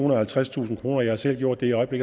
og halvtredstusind kroner jeg har selv gjort det og i